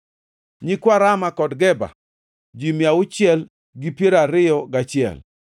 nyikwa Rama kod Geba, ji mia auchiel gi piero ariyo gachiel (621),